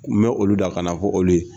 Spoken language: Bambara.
Kun bɛ olu da kana fɔ olu ye.